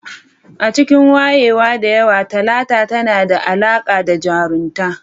A cikin wayewa da yawa, Talata tana da alaƙa da jaruntaka